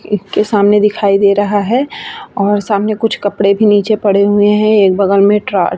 एक के सामने दिखाई दे रहा है और सामने कुछ कपड़े भी नीचे पड़े हुए हैं | एक बगल में ट्रा --